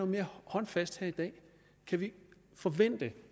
mere håndfast her i dag kan vi forvente